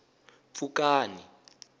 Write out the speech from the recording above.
pfukani